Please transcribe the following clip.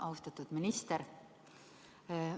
Austatud minister!